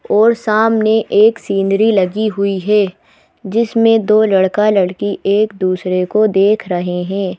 और सामने एक सीनरी लगी हुई है जिसमें दो लड़का लड़की एक दूसरे को देख रहे हैं।